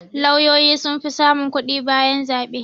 Lauyoyi sun fi samun kuɗi bayan zaɓe